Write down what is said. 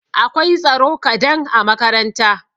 Akwai tsaro kadan a makaranta.